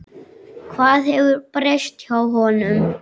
Hvað hefur breyst hjá honum?